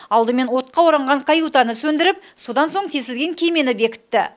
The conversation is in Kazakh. алдымен отқа оранған каютаны сөндіріп содан соң тесілген кемені бекітті